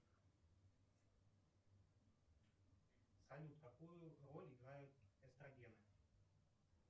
салют какую роль играют эстрогены